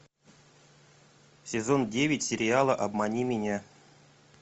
сезон девять сериала обмани меня